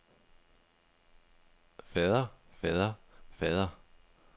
fader fader fader